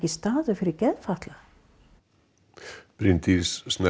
staður fyrir geðfatlaða Bryndís